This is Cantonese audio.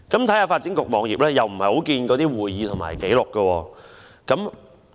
在發展局網頁，我們看不到相關的會議紀錄。